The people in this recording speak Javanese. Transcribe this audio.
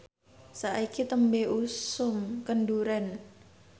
saiki tembe usum kendhuren